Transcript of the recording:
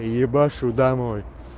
ебашу домой